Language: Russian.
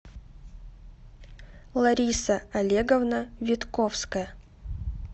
лариса олеговна витковская